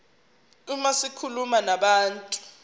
uma zikhuluma nabantu